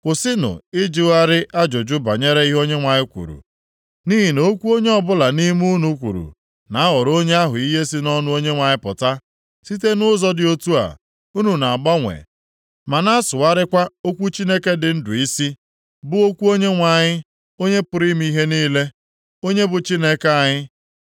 Kwụsịnụ ịjụgharị ajụjụ banyere ihe Onyenwe anyị kwuru, nʼihi na okwu onye ọbụla nʼime unu kwuru na-aghọrọ onye ahụ ihe si nʼọnụ Onyenwe anyị pụta. Site nʼụzọ dị otu a unu na-agbanwe ma na-asụgharịkwa okwu Chineke dị ndụ isi, bụ okwu Onyenwe anyị, Onye pụrụ ime ihe niile, onye bụ Chineke anyị.